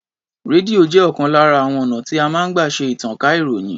Rédíò jẹ́ ọ̀kan lára àwon ọ̀nà tí a máa ń gbà ṣe ìtànká ìròyìn.